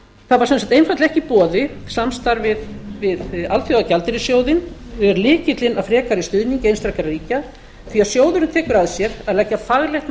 það er sem sagt einfaldlega ekki í boði samstarf við alþjóðagjaldeyrissjóðinn er lykillinn að frekari stuðningi einstakra ríkja því að sjóðurinn tekur að sér að leggja faglegt